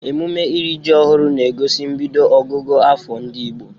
Emume iri ji ọhụrụ na-egosi mbido ọgụgụ afọ ndị Igbo.